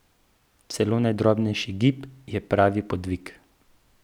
Celo najdrobnejši gib je bil pravi podvig.